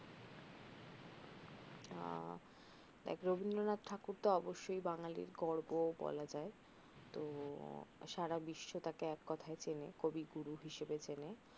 দেখ রবিন্দ্রনাথ ঠাকুর অব্বশই বাঙ্গালির গর্ভ বলা যায় তহ সারা বিশ্ব তাকে এক কথায় চেনে কবিগুরু হিসেবে চেনে